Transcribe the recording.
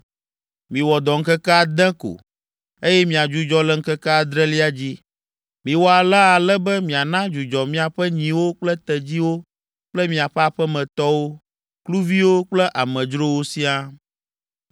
“Miwɔ dɔ ŋkeke ade ko, eye miadzudzɔ le ŋkeke adrelia dzi. Miwɔ alea ale be miana dzudzɔ miaƒe nyiwo kple tedziwo kple miaƒe aƒemetɔwo, kluviwo kple amedzrowo siaa.